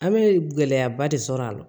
An bɛ gɛlɛyaba de sɔrɔ a la